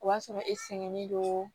O b'a sɔrɔ e sɛgɛnnen don